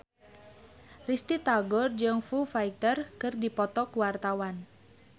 Risty Tagor jeung Foo Fighter keur dipoto ku wartawan